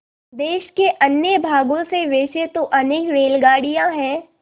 देश के अन्य भागों से वैसे तो अनेक रेलगाड़ियाँ हैं